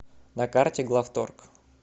на карте главторг